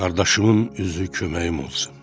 Qardaşımın üzü köməyim olsun.